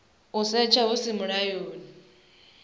u setsha hu si mulayoni